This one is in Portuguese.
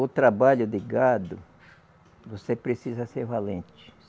O trabalho de gado, você precisa ser valente.